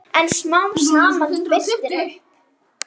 En smám saman birtir upp.